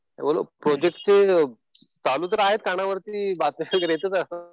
Project चालू तर आहेत. कानावरती बातम्या वगैरे येतच असतात